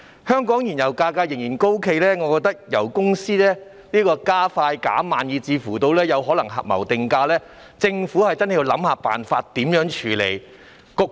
香港燃油價格仍然高企，我認為油公司油價加快減慢，甚至可能有合謀定價的情況，政府真的要想想辦法處理。